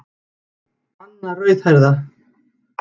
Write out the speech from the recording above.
Banna rauðhærða.